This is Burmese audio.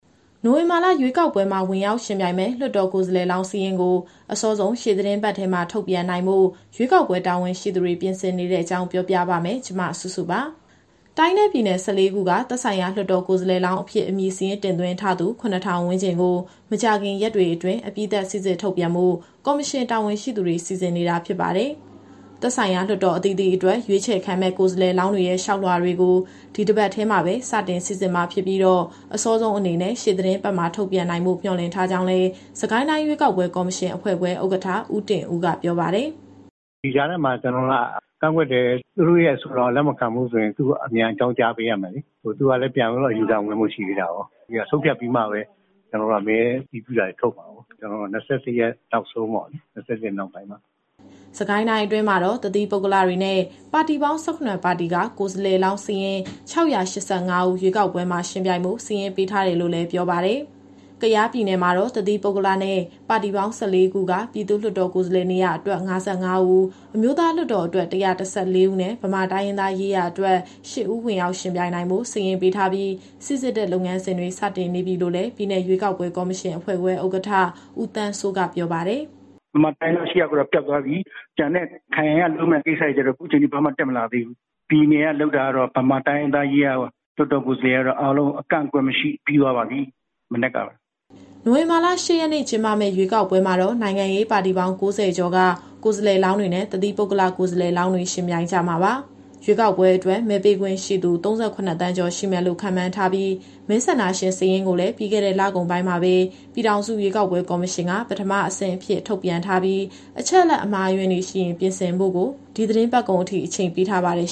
နိုဝင်ဘာလ ရွေးကောက်ပွဲမှာ ဝင်ရောက်ယှဉ်ပြိုင်မယ့် လွှတ်တော်ကိုယ်စားလှယ်လောင်းစာရင်းကို အစောဆုံး ရှေ့တပတ်ထဲ ထုတ်ပြန်နိုင်ဖို့ ရွေးကောက်ပွဲ တာဝန်ရှိသူတွေ ပြင်ဆင်နေတဲ့အကြောင်း ဗွီအိုအေမြန်မာပိုင်း သတင်းထောက်စုစုက ပြောပြပါမယ်။ တိုင်းနဲ့ ပြည်နယ် ၁၄ ခုက သက်ဆိုင်ရာလွှတ်တော် ကိုယ်စားလှယ်လောင်းအဖြစ် အမည်စာရင်း တင်သွင်းထားသူ ၇,၀၀၀ ဝန်းကျင်ကို မကြာခင်ရက်တွေအတွင်း အပြီးသတ်စိစစ်ထုတ်ပြန်ဖို့ ကော်မရှင်တာဝန်ရှိသူတွေ စီစဉ်နေတာ ဖြစ်ပါတယ်။ သက်ဆိုင်ရာ လွှတ်တော် အသီးသီးအတွက် ရွေးချယ်ခံမယ့် ကိုယ်စားလှယ်လောင်းတွေရဲ့ လျှောက်လွှာတွေကို ဒီတပတ်ထဲမှာပဲ စတင်စိစစ်မှာဖြစ်ပြီး အစောဆုံး ရှေ့သီတင်းပတ်မှာ ထုတ်ပြန်နိုင်ဖို့ မျှော်လင့်ထားကြောင်းလည်း စစ်ကိုင်းတိုင်းရွေးကောက်ပွဲ ကော်မရှင်အဖွဲ့ခွဲ ဥက္ကဋ္ဌ ဦးတင်ဦးက ပြောပါတယ်။ “ဒီကြားထဲမှာ ကျနော်တို့က ကန့်ကွက်တယ်၊ သူတို့ရဲ့အဆိုလွှာကို လက်မခံဘူးဆိုရင် သူတို့ကိုအမြန်အကြောင်း ကြားပေးရမယ်။ သူကလည်း ပြန်ပြီးတော့ အယူခံဝင်ဖို့ ရှိသေးတာကို။ ဆိုတော့ ဆုံးဖြတ်ပြီးမှပဲ ကျနော်တို့က မဲအတည်ပြုလွှာတွေ ထုတ်မှာကို ၂၁ ရက်နောက်ဆုံးပေါ့လေ။ အဲဒီနောက်ပိုင်းမှ...” စစ်ကိုင်းတိုင်းအတွင်းမှာတော့ တသီးပုဂ္ဂလတွေနဲ့ ပါတီပေါင်း ၁၇ ပါတီက ကိုယ်စားလှယ်လောင်းစာရင်း ၆၈၅ ဦး ရွေးကောက်ပွဲမှာ ယှဉ်ပြိုင်ဖို့ စာရင်းပေးထားတယ်လို့လည်း ပြောပါတယ်။ ကယားပြည်နယ်မှာတော့ တသီးပုဂ္ဂနဲ့ ပါတီပေါင်း ၁၄ ခုက ပြည်သူ့လွှတ်တော်ကိုယ်စားလှယ်နေရာအတွက် ၅၅ ဦး၊ အမျိုးသားလွှတ်တော်အတွက် ၁၁၄ ဦးနဲ့ ဗမာတိုင်းရင်းသားရေးရာအတွက် ၈ ဦး ဝင်ရောက်ယှဉ်ပြိုင်နိုင်ဖို့ စာရင်းပေးထားပြီး စိစစ်တဲ့ လုပ်ငန်းစဉ်တွေ စတင်နေပြီလို့လည်း ပြည်နယ်ရွေးကောက်ပွဲ ကော်မရှင်အဖွဲ့ခွဲ ဥက္ကဋ္ဌ ဦးသန်းစိုးက ပြောပါတယ်။ “ဗမာတိုင်းရင်းသား ၈ ယောက်ကတော့ ပျက်သွားပြီ။ ကျန်တဲ့ခရိုင်ကလုပ်မယ့် ကိစ္စတွေကတော့ ခုချိန်ထိဘာမှ တက်မလာသေးဘူး။ ပြည်နယ်ကလုပ်တာကတော့ ဗမာတိုင်းရင်းသားရေးရာ လွှတ်တော်ကိုယ်စားလှယ်ကတော့ အားလုံးအကန့်အကွက်မရှိ မနက်ကပဲပြီးသွားပါပြီ။” နိုဝင်ဘာလ ၈ ရက်နေ့ ကျင်းပမယ့် ရွေးကောက်ပွဲမှာတော့ နိုင်ငံရေးပါတီပေါင်း ၉၀ ကျော်က ကိုယ်စားလှယ်လောင်းတွေနဲ့ တသီးပုဂ္ဂလကိုယ်စားလှယ်လောင်းတွေ ယှဉ်ပြိုင်ကြမှာပါ။ ရွေးကောက်ပွဲအတွက် မဲပေးခွင့်ရှိသူ ၃၇ သန်းကျော်ရှိမယ်လို့ ခန့်မှန်းထားပြီး၊ မဲဆန္ဒရှင်စာရင်းကိုလည်း ပြီးခဲ့တဲ့လကုန်ပိုင်းမှာပဲ ပြည်ထောင်စုရွေးကောက်ပွဲ ကော်မရှင်က ပထမအဆင့်အဖြစ် ထုတ်ပြန်ထားပြီး အချက်အလက် အမှားအယွင်းတွေရှိရင် ပြင်ဆင်ဖို့လည်း ဒီသီတင်းပတ်ကုန်အထိ အချိန်ပေးထားပါတယ်